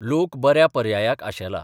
लोक बऱ्या पर्यायाक आशेला.